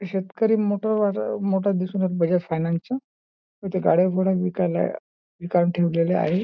शेतकरी मोठं वार मोटर दिसून येत आहेत बजाज फायनान्सच इथे गाड्या घोड्या विकायला आहे ही काढून ठेवलेल्या आहे.